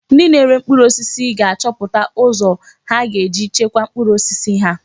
Ndị na-ere mkpụrụ osisi ga-achọpụta ụzọ ha ga-eji chekwaa mkpụrụ osisi ha.